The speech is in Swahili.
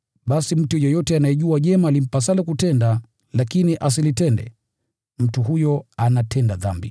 Basi mtu yeyote anayejua jema limpasalo kutenda, lakini asilitende, mtu huyo anatenda dhambi.